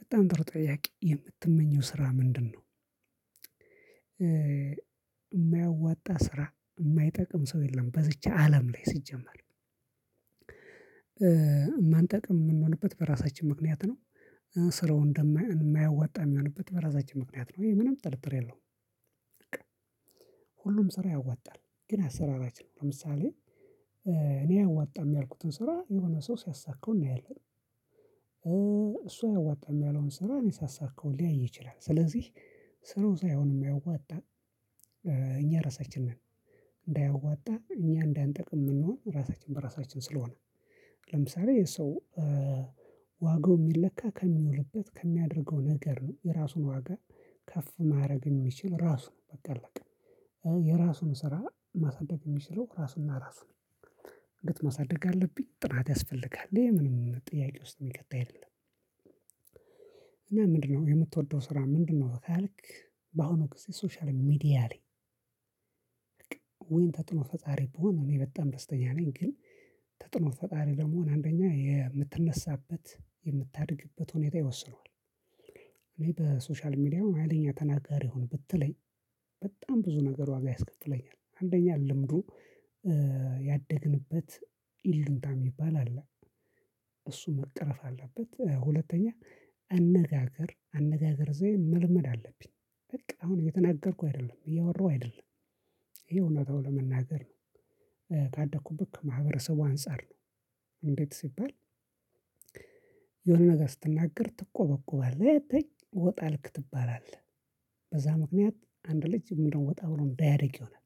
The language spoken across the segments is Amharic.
በጣም ጥሩ ጥያቄ የምትመኘው ስራ ምንድን ነው? የማያዋጣ ስራ የማይጠቅም ሰው የለም በዚች አለም ላይ ሲጀምር የማንጠቅም የምንሆንበት በራሳችን ምክንያት ነው። ስራው እንደማያወጣ የሚሆንበት በራሳችን ምክንያት ነው ይሄ ምንም ጥርጥር የለውም። በቃ ሁሉም ስራ ያዋጣል ግን አሰራራችን ለምሳሌ እኔ አያዋጣም ያልኩትን ስራ የሆነ ሰው ሲያሳካው እናያለን። እሱ አያዋጣም ያለውን ስራ እኔ ሳሳካው ሊያይ ይችላል። ስለዚህ ስራው ሳይሆን የማያወጣው እኛ ራሳችን እንዳያዋጣ እኛ እንዳንጠቅም የምንሆን ራሳችን በራሳችን ስለሆነ። ለምሳሌ ይሄ የሰው ዋጋው የሚለካ ከሚውልበት ከሚያደርገው ነገር ነው የራሱን ዋጋ ከፍ ማድረግ የሚችል ራሱ ነው በቃ አለቀ። የራሱን ስራ ማሳደግ የሚችለው ራሱና ራሱ ነው እንግዲህ ማሳደግ አለብኝ ጥናት ያስፈልጋል ይሄ ምንም ጥያቄ ውስጥ የሚከት አይደለም። ምንድነው የምትወደው ስራ? ምንድነው ካልክ? በአሁኑ ጊዜ ሶሻል ሚዲያ ላይ ተጽኖ ፈጣሪ ብሆን እኔ በጣም ደስተኛ ነኝ። ግን ተጽኖ ፈጣሪ ለመሆን አንደኛ የምትነሳበት የምታድግበት ሁኔታ ይወስነዋል። እኔ በሶሻል ሚዲያው ሀይለኛ ተናጋሪ ይሁን ብትለኝ በጣም ብዙ ነገር ዋጋ ያስከፍለኛል። አንደኛ ልምዱ ያደግንበት ይሉኝታ የሚባል አለ። እሱ መቀረፍ አለበት ሁለተኛ አነጋገር አነጋገር ዘዬ መልመድ አለብኝ። በቃ አሁን እየተናገርኩ አይደለም እያወራሁ አይደለም ይሄ እውነታው ለመናገር ነው። ካደኩብት ከማህበረሰቡ አንፃር ነው። እንዴት ሲባል? የሆነ ነገር ስትናገር ትቆበቆባለህ ወጣ አልክ ትባላለህ። በዛ ምክንያት አንድ ልጅ ምንድነው ወጣ ብሎ እንዳያድግ ይሆናል።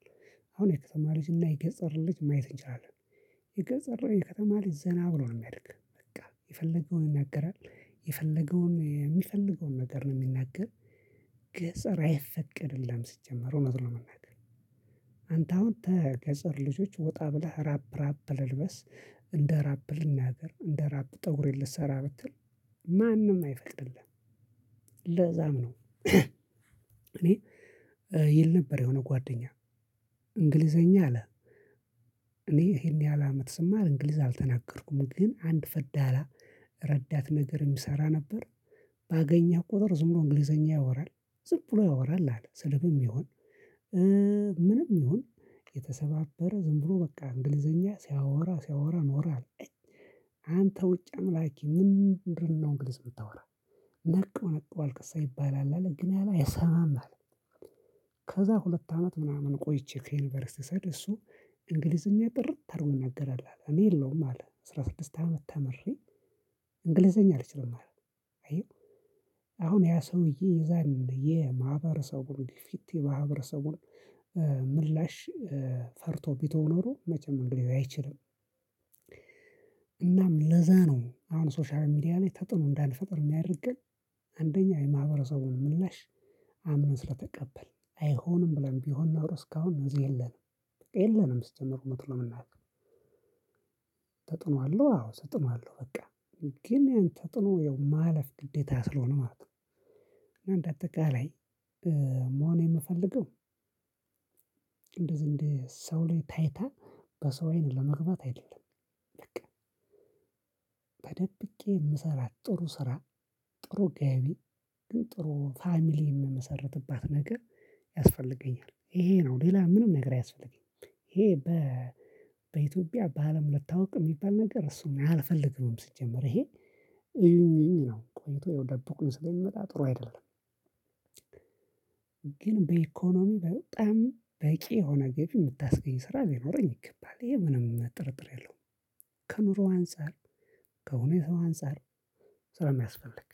አሁን የከተማ ልጅ እና የገጠር ልጅ ማየት እንችላለን። የገጠር የከተማ ልጅ ዘና ብሎ ነው የሚያድግ በቃ የፈለገውን ይናገራል። የፈለገውን የሚፈልገውን ነገር ነው የሚናገር። ገጠር አይፈቀድልህም ሲጀመር እውነቱን ለመናገር። አንተ አሁን ተገጠር ልጆች ወጣ ብለህ ራፕ ራፕ ልልበስ። እንደ ራፐር ልናገር እንደ ራፐር ፀጉሬን ልሰራ ብትል ማንም አይፈቅድልህም። ለዛም ነው እኔ ይል ነበር የሆነ ጓደኛ እንግሊዘኛ አለ። እኔ ይሄን ያህል አመት ስማር እንግሊዝኛ አልተናገርኩም ግን አንድ ረዳት ነገር የሚሰራ ነበር። ባገኘው ቁጥር ዝምብሎ እንግሊዘኛ ያወራል። ዝም ብሎ ያወራል አለ ስለ ምንም ይሁን ምንም ይሁን የተሰባበረ ዝም ብሎ በቃ እንግሊዘኛ ሲያወራ ሲያወራ ኖረ አለ። አንተ ውጭ አምላኪ ምንድነው እንግሊዝ የምታወራ? ነቃው ነቃው አልክሳ ይባላል አለ ግን ያኔ አይሰማም አለ። ከዛ ሁለት አመት ምናምን ቆይቼ ከዩኒቨርሲቲ ስሄድ እሱ እንግሊዝኛ ጥርት አድርጎ ይናገራል አለ። እኔ የለውም አለ አስራ ስድስት አመት ተምሬ እንግሊዘኛ አልችልም ማለት አየሀው። አሁን ያ ሰውዬ የዛን የማህበረሰቡን ፊት የማህበረሰቡን ምላሽ ፈርቶ ቢተው ኖሮ መቼም እንግሊዝኛ አይችልም። እናም ለዛ ነው አሁን ሶሻል ሚዲያ ላይ ተጽኖ እንዳንፈጥር የሚያደርገን አንደኛ የማህበረሰቡን ምላሽ አምነን ስለተቀበልን አይሆንም ብለን ቢሆን ኖሮ እስካሁን እዚህ የለንም። የለንም ሲጀመር እውነት ለመናገር። ተጽኖ አለው አዎ ተጽኖ አለው በቃ። ግን ያን ተጽኖ ያው ማለፍ ግዴታ ስለሆነ ማለት ነው። እና እንደ አጠቃላይ መሆን የምፈልገው። እንደ እንደዚህ ሰው ላይ ታይታ በሰው አይነት ለመግባት አይደለም። በቃ ተደብቄ የምሰራት ጥሩ ስራ። ጥሩ ገቢ ግን ጥሩ ፋሚሊ የምመሰርትባት ነገር ያስፈልገኛል። ይሄ ነው ሌላ ምንም ነገር አያስፈልገኝም። ይሄ በኢትዮጵያ በአለም ልታውቅ የሚባል ነገር እሱን አልፈልግም ሲጀምር ይሄ ይሄን ነው ቆይቶ ደብቁኝ ስለሚመጣ ጥሩ አይደለም። ግን በኢኮኖሚ በጣም በቂ የሆነ ገቢ የምታስገኝ ስራ ቢኖረኝ ይገባል ይሄ ምንም ጥርጥር የለውም። ከኑሮው አንፃር ከእውነታው አንፃር ስለሚያስፈልግ